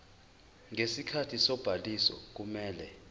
ngesikhathi sobhaliso kumele